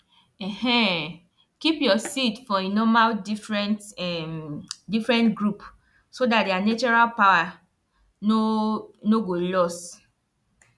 um keep your seed for e normal different um different group so that their natural power no no go lost